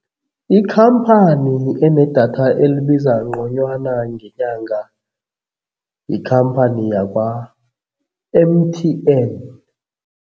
Ikhamphani enedatha elibiza nconywana ngenyanga yikhamphani yakwa-M_T_N.